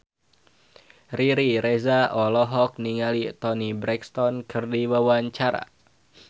Riri Reza olohok ningali Toni Brexton keur diwawancara